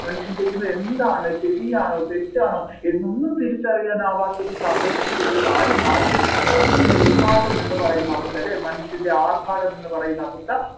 മനുഷ്യൻ ചെയ്യന്നത് എന്താണ് ശരിയാണോ തെറ്റാണോ എന്നൊന്നും തിരിച്ചറിയാൻ ആവാത്ത ഒരു സാഹചര്യത്തിലേക്ക് ആര് മാറിയിരിക്കുന്നു ഈ ഉന്മാദം എന്ന പറയുന്ന അവസ്ഥ അല്ലെ മനുഷ്യൻെറ ആർഭാടം എന്നു പറയുന്ന അവസ്ഥ